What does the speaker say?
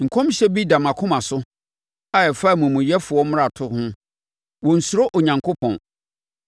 Nkɔmhyɛ bi da mʼakoma so a ɛfa omumuyɛfoɔ mmarato ho. Wɔnnsuro Onyankopɔn.